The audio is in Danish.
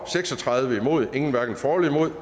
seks og tredive hverken for eller imod